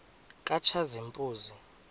katshazimpuzi